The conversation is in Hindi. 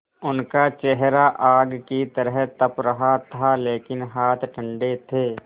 उनका चेहरा आग की तरह तप रहा था लेकिन हाथ ठंडे थे